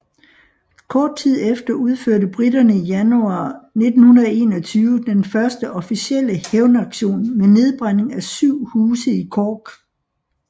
Kort tid efter udførte briterne i januar 1921 den første officielle hævnaktion med nedbrænding af syv huse i Cork